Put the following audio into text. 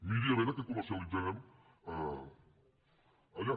miri a veure què comercialitzarem allà